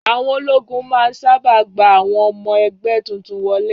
Àwọn ológun máa n sáábà gba àwọn ọmọ ẹgbẹ́ tuntun wọlé